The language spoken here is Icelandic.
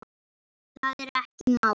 Það er ekki málið.